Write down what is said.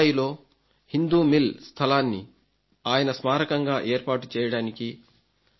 ముంబయిలో Hindu mill స్థలాన్ని ఆయన స్మారకంగా ఏర్పాటుచేయడానికి